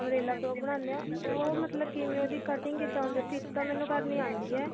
umbrella frock ਬਣਾਉਨਦੇ ਆਂ ਉਹ ਮਤਲਬ ਕੀ ਕਿਵੇਂ ਉਹਦੀ cutting ਕਿੱਦਾਂ ਹੁੰਦੀ stich ਤਾਂ ਮੈਨੂੰ ਕਰਨੀ ਆਉਂਦੀ ਆ